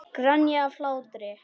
Grenja af hlátri.